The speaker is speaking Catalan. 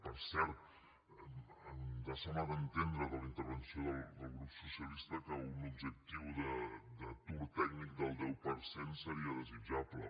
per cert ens ha semblat entendre de la intervenció del grup socialista que un objectiu d’atur tècnic del deu per cent seria desitjable